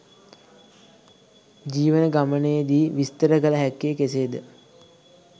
ජීවන ගමනේදී විස්තර කළ හැක්කේ කෙසේද?